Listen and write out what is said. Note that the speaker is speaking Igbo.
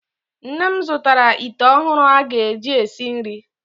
Nne m zụtara ite ọhụrụ aga eji esi nri.